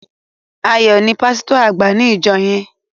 Ayo is the pasito agba ìjọ yén.